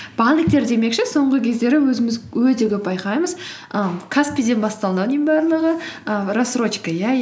банктер демекші соңғы кездері өзіміз өте көп байқаймыз і каспи ден басталды ау барлығы і рассрочка иә